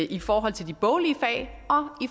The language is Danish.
i forhold til de boglige fag